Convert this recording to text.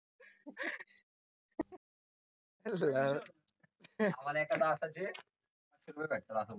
मला दातांचे.